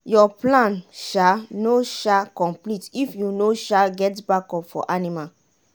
your plan um no um complete if you no um get backup food for anima.